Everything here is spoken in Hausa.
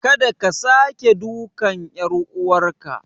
Kada ka sake dukan ƴar uwarka.